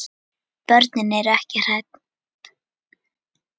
Börnin eru ekki hrædd.